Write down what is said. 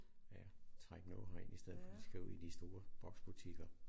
Ja trække noget herind i stedet for de skal ud i de store boksbutikker